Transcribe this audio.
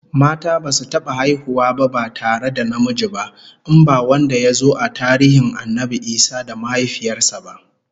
Mata basu taba haihuwa ba ba tare da namiji ba, in ba wanda yazo a tarihin Annabi Isa da mahaifiyar sa ba.